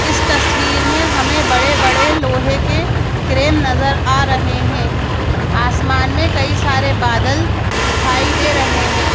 इस तस्वीर में हमें बड़े-बड़े लोहे के क्रेन नजर आ रहे हैं आसमान में कई सारे बादल दिखाई दे रहे हैं।